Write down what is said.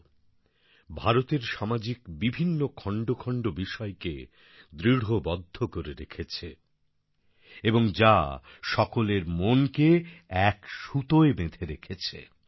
যে কিনা ভারতের সামাজিক বিভিন্ন খন্ড খন্ড বিষয়কে দৃঢ়বন্ধ করে রেখেছে এবং যা সকলের মনকে এক এক সুতোয় বেঁধে রেখেছে